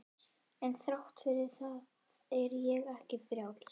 En þrátt fyrir það er ég ekki frjáls.